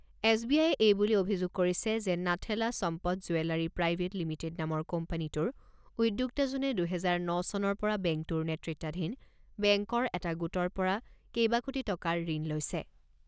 S B আয়ে এই বুলি অভিযোগ কৰিছে যে Nathella Sampath jewellery private limited নামৰ কোম্পানীটোৰ উদ্যোক্তাজনে দুহেজাৰ ন চনৰ পৰা বেংকটোৰ নেতৃত্বাধীন বেংকৰ এটা গোটৰ পৰা কেইবা কোটি টকাৰ ঋণ লৈছে।